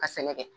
Ka sɛnɛ kɛ